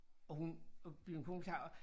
Og hun bliver og hun kan også